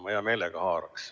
Ma hea meelega haaraks.